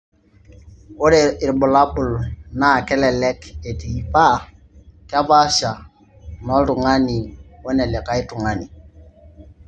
ore irbulabol naa kelek etii paa kepaasha enoltungani we nelikae tungani.